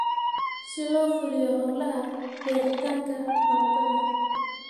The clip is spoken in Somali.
si loo fuliyo hawlaha beeritaanka baradhada